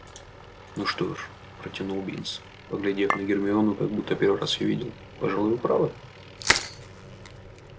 ну что ж протянул бинс поглядев на гермиону как будто первый раз её видел пожалуй вы правы